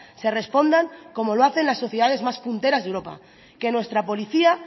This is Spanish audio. se respondan como lo hacen las sociedades más punteras de europa que nuestra policía